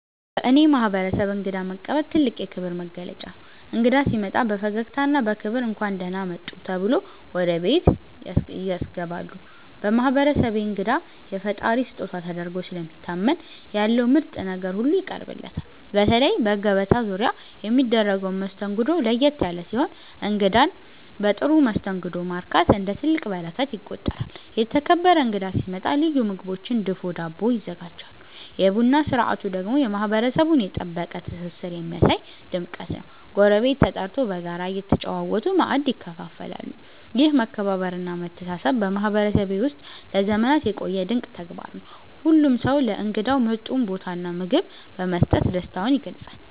በእኔ ማህበረሰብ እንግዳ መቀበል ትልቅ የክብር መገለጫ ነው። እንግዳ ሲመጣ በፈገግታና በክብር “እንኳን ደህና መጡ” ተብሎ ወደ ቤት ያስገባሉ። በማህበረሰቤ እንግዳ የፈጣሪ ስጦታ ተደርጎ ስለሚታመን ያለው ምርጥ ነገር ሁሉ ይቀርብለታል። በተለይ በገበታ ዙሪያ የሚደረገው መስተንግዶ ለየት ያለ ሲሆን እንግዳን በጥሩ መስተንግዶ ማርካት እንደ ትልቅ በረከት ይቆጠራል። የተከበረ እንግዳ ሲመጣ ልዩ ምግቦችና ድፎ ዳቦ ይዘጋጃሉ። የቡና ስነ ስርዓቱ ደግሞ የማህበረሰቡን የጠበቀ ትስስር የሚያሳይ ድምቀት ነው፤ ጎረቤት ተጠርቶ በጋራ እየተጨዋወቱ ማእድ ይካፈላሉ። ይህ መከባበርና መተሳሰብ በማህበረሰቤ ውስጥ ለዘመናት የቆየ ድንቅ ተግባር ነው። ሁሉም ሰው ለእንግዳው ምርጡን ቦታና ምግብ በመስጠት ደስታውን ይገልጻል።